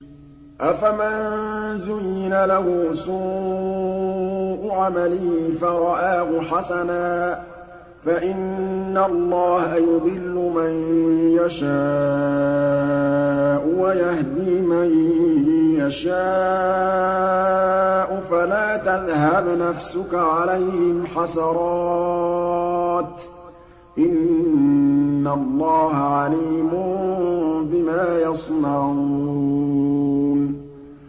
أَفَمَن زُيِّنَ لَهُ سُوءُ عَمَلِهِ فَرَآهُ حَسَنًا ۖ فَإِنَّ اللَّهَ يُضِلُّ مَن يَشَاءُ وَيَهْدِي مَن يَشَاءُ ۖ فَلَا تَذْهَبْ نَفْسُكَ عَلَيْهِمْ حَسَرَاتٍ ۚ إِنَّ اللَّهَ عَلِيمٌ بِمَا يَصْنَعُونَ